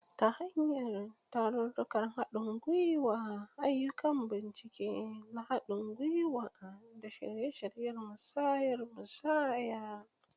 Ta hanyar tarurrukan haɗin gwiwa, ayyukan bincike na haɗin gwiwa, da shirye-shiryen musayar musayar.